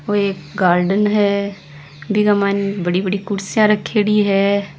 ओ एक गार्डन है बिन्के मायने बड़ी बड़ी कुर्सिया रखी डी है।